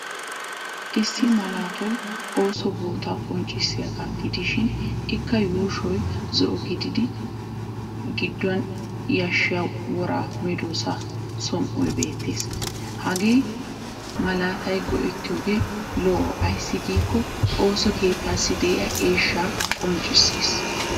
Issi malaatay ooso bootaa qonccissiyagaa gidishin ikka yuushoy zo'o gididi gidduwan yashshiya wora medoossaa som"oy beettes. Hagaa ma malaataa goettiyoogee lo'o ayssi giikko ooso kettaassi diya eeshshaa qonccisses.